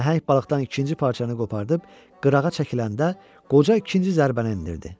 Nəhəng balıqdan ikinci parçanı qoparıb qırağa çəkiləndə qoca ikinci zərbəni endirdi.